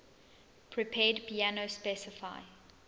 prepared piano specify